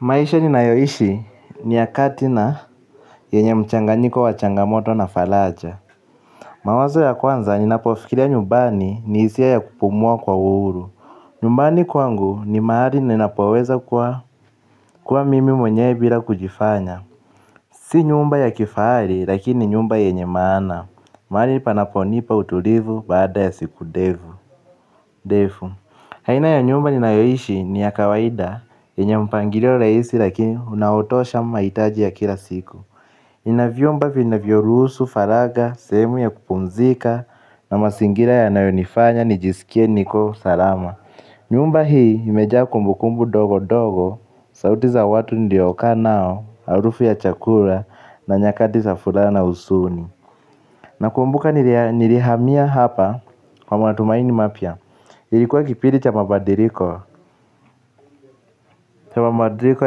Maisha ninayoishi ni ya kati na yenye mchanganyiko wa changamoto na faraja. Mawazo ya kwanza ninapofikiria nyumbani ni hisia ya kupumua kwa uhuru. Nyumbani kwangu ni mahali ninapoweza kuwa mimi mwenyewe bila kujifanya. Si nyumba ya kifahari lakini nyumba yenye maana. Mahali panaponipa utulivu baada ya siku ndevu ndefu, aina ya nyumba ninayoishi ni ya kawaida. Yenye mpangilio rahisi lakini unaotosha mahitaji ya kila siku. Ina vyombo vinavyoruhusu faragha, sehemu ya kupumzika. Na mazingira yanayonifanya nijisikie niko salama. Nyumba hii imejaa kumbukumbu ndogo ndogo. Sauti za watu niliokaa nao, harufu ya chakula na nyakati za furaha na huzuni. Nakumbuka nilihamia hapa kwa matumaini mapya. Ilikuwa kipindi cha mabadiliko, cha mabadiliko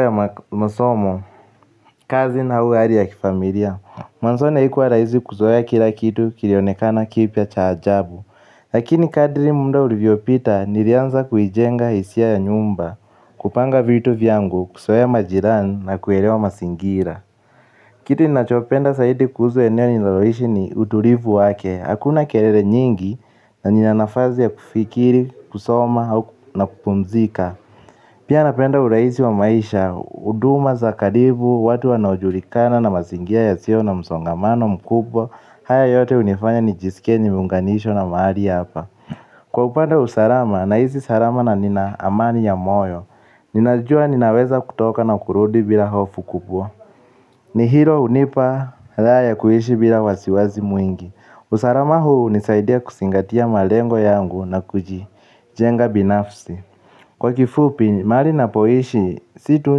ya masomo, kazi au hali ya kifamilia mwanzoni haikuwa rahisi kuzoea kila kitu kilionekana kipya cha ajabu. Lakini kadiri muda ulivyopita nilianza kuijenga hisia ya nyumba, kupanga vitu vyangu, kuzoea majirani na kuelewa mazingira. Kitu ninachopenda zaidi kuhusu eneo ninaloishi ni utulivu wake hakuna kelele nyingi na nina nafasi ya kufikiri, kusoma na kupumzika. Pia napenda urahisi wa maisha, huduma za karibu, watu wanaojulikana na mazingira yasiyo na msongamano mkubwa haya yote hunifanya nijisike nimeunganishwa na mahali hapa kwa upande wa usalama nahisi salama na nina amani ya moyo. Ninajua ninaweza kutoka na kurudi bila hofu kubwa. Ni hilo hunipa raha ya kuishi bila wasiwasi mwingi usalama huu hunisaidia kuzingatia malengo yangu na kujijenga binafsi kwa kifupi mahali ninapoishi si tu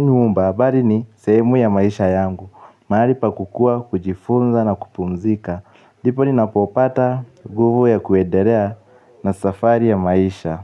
nyumba bali ni sehemu ya maisha yangu ni mahali pa kukua kujifunza na kupumzika ndipo ninapopata nguvu ya kuendelea na safari ya maisha.